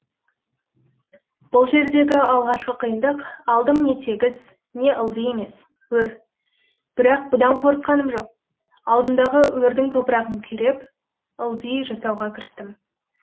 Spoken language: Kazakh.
бұл жердегі алғашқы қиындық алдым не тегіс не ылди емес өр бірақ бұдан қорыққаным жоқ алдымдағы өрдің топырағын күреп ылди жасауға кірістім